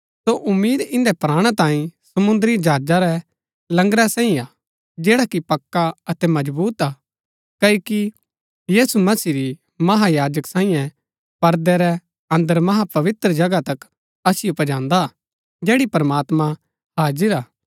सो उम्मीद इन्दै प्राणा तांई समुंद्री जहाजा रै लंगरा सांईं हा जैडा कि पक्का अतै मजबुत हा क्ओकि यीशु मसीह ही महायाजक सांईये परदै रै अन्दर महापवित्र जगह तक असिओ पजान्दा हा जैड़ी प्रमात्मां हाजिर हा